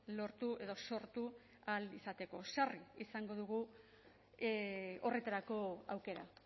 lortu edo sortu ahal izateko sarri izango dugu horretarako aukera